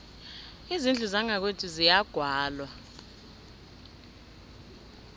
izindlu zangakwethu ziyagwalwa